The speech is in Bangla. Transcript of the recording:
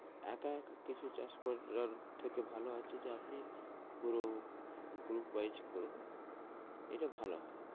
একা একা কিছু চাষ করার এর থেকে ভালো হচ্ছে যে আপনি পুরো group wise করুন এটা ভালো হয়।